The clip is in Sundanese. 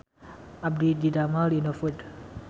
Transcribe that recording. Abdi didamel di Indofood